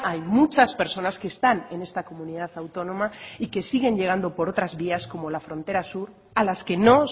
hay muchas personas que están en esta comunidad autónoma y que siguen llegando por otras vías como la frontera sur a las que no